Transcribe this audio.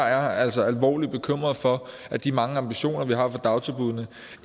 jeg altså er alvorligt bekymret for at de mange ambitioner vi har for dagtilbuddene